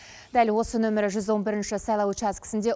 дәл осы нөмірі жүз он бірінші сайлау учаскісінде